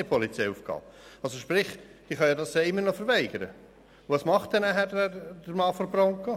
Die Angehaltenen können also die Kontrolle immer noch verweigern, und was macht dann der Mann der Bronco?